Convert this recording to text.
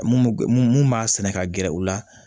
Mun mun b'a sɛnɛ ka gɛrɛ u la